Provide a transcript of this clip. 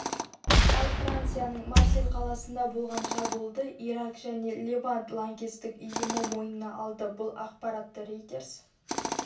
ал францияның марсель қаласында болған шабуылды ирак және левант лаңкестік ұйымы мойнына алды бұл ақпаратты рейтерс